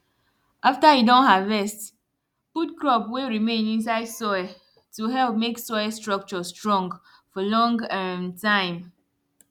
after you don harvest put crop wey remain inside soil to help make soil structure strong for long um time